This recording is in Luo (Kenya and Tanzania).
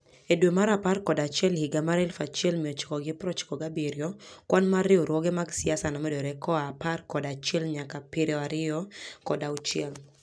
E dwe mar apar kod achiel higa 1997, kwan mar riwruoge mag siasa nomedore koa apar kod achiel nyaka piero ariyo kod auchiel.